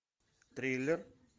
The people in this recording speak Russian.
триллер